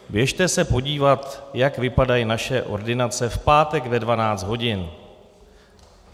Běžte se podívat, jak vypadají naše ordinace v pátek ve 12 hodin.